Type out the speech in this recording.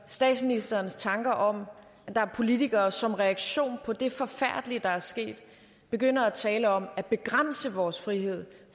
statsministerens tanker om at der er politikere der som reaktion på det forfærdelige der er sket begynder at tale om at begrænse vores frihed